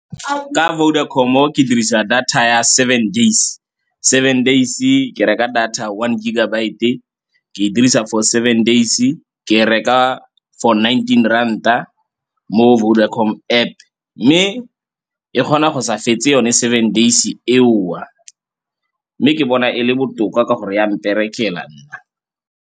Ka Vodacom-o ke dirisa data ya seven days. Seven days-e ke reka data one gigabyte-e ke dirisa for seven days-e, ke reka for nineteen ranta mo Vodacom App. Mme e kgona go sa fetse yone seven days-e eo, mme ke bona e le botoka ka gore ya mperekela nna.